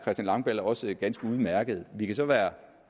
langballe også ganske udmærket vi kan så være